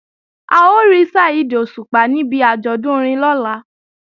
A ó rí Saheed Òṣùpá níbi àjọ̀dún orin lọ́la